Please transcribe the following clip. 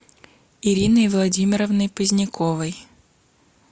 ириной владимировной поздняковой